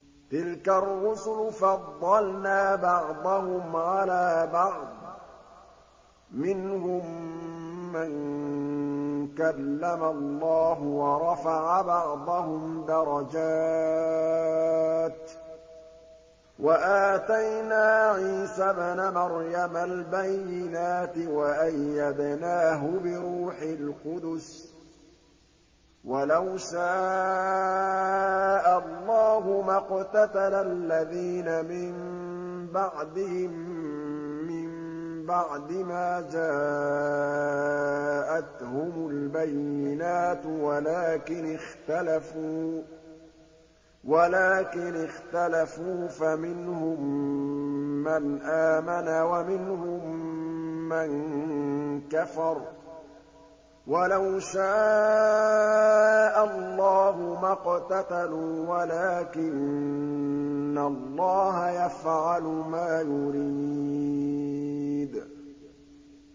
۞ تِلْكَ الرُّسُلُ فَضَّلْنَا بَعْضَهُمْ عَلَىٰ بَعْضٍ ۘ مِّنْهُم مَّن كَلَّمَ اللَّهُ ۖ وَرَفَعَ بَعْضَهُمْ دَرَجَاتٍ ۚ وَآتَيْنَا عِيسَى ابْنَ مَرْيَمَ الْبَيِّنَاتِ وَأَيَّدْنَاهُ بِرُوحِ الْقُدُسِ ۗ وَلَوْ شَاءَ اللَّهُ مَا اقْتَتَلَ الَّذِينَ مِن بَعْدِهِم مِّن بَعْدِ مَا جَاءَتْهُمُ الْبَيِّنَاتُ وَلَٰكِنِ اخْتَلَفُوا فَمِنْهُم مَّنْ آمَنَ وَمِنْهُم مَّن كَفَرَ ۚ وَلَوْ شَاءَ اللَّهُ مَا اقْتَتَلُوا وَلَٰكِنَّ اللَّهَ يَفْعَلُ مَا يُرِيدُ